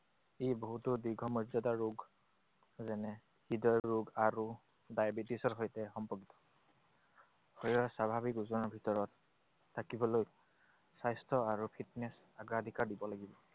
এই বহুতো দীৰ্ঘমৰ্য্যদা ৰোগ যেনে হৃদয়ৰোগ আৰু diabetes ৰ সৈতে সম্বদ্ধ। শৰীৰৰ স্বাভাৱিক ওজনৰ ভিতৰত থাকিবলৈ স্বাস্থ্য আৰু fitness অগ্ৰাধিকাৰ দিব লাগিব।